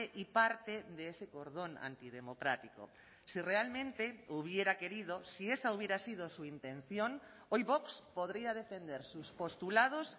y parte de ese cordón antidemocrático si realmente hubiera querido si esa hubiera sido su intención hoy vox podría defender sus postulados